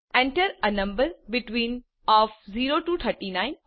Enter a number between O F 0 T O 39